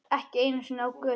Ekki einu sinni á götu.